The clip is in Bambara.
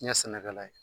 N ye sɛnɛkɛla ye